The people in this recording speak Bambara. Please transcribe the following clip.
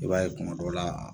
I b'a ye kuma dɔ la